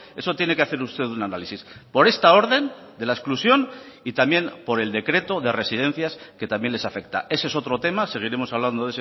eso tiene que hacer usted un análisis por esta orden de la exclusión y también por el decreto de residencias que también les afecta ese es otro tema seguiremos hablando